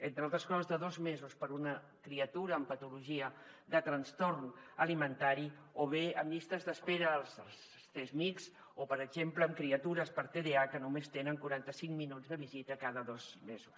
entre altres coses de dos mesos per a una criatura amb patologia de trastorn alimentari o bé amb llistes d’espera als csmijs o per exemple amb criatures per tdah que només tenen quaranta cinc minuts de visita cada dos mesos